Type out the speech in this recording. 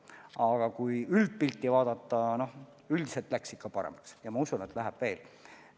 Aga kui üldpilti vaadata, siis üldiselt läks ikka paremaks ja ma usun, et läheb veel.